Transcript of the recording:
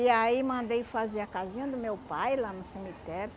E aí mandei fazer a casinha do meu pai lá no cemitério.